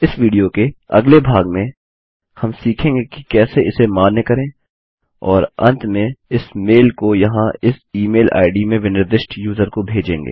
इस विडियो के अगले भाग में हम सीखेंगे कि कैसे इसे कैसे मान्य करें और अंत में इस मेल को यहाँ इस ईमेल आईडी में विनिर्दिष्ट यूज़र को भेजेंगे